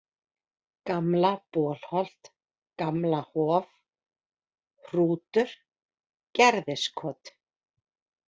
Gamla-Bolholt, Gamlahof, Hrútur, Gerðiskot